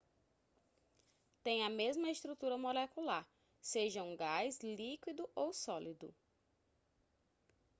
tem a mesma estrutura molecular seja um gás líquido ou sólido